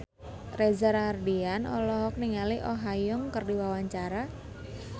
Reza Rahardian olohok ningali Oh Ha Young keur diwawancara